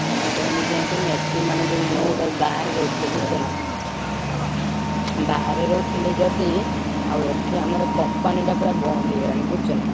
ମୁଁ କହିଲି କଣ କୁହନି ଏଠି ମାନେ ଯୋଉ ମୁଁ ଗୋଟେ ବାହାରେ ରହୁଥିଲି ବୁଝୁଛନା। ବାହାରେ ରହୁଥିଲି ଯଦି, ଆଉ ଏଠି ଆମର company ଟା ପୁରା ବନ୍ଦ ହେଇଗଲାଣି ବୁଝୁଛନା।